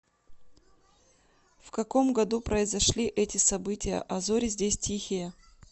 в каком году произошли эти события а зори здесь тихие